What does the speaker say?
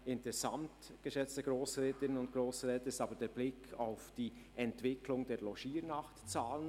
Interessant, geschätzte Grossrätinnen und Grossräte, ist aber der Blick auf die Entwicklung der Logiernachtzahlen.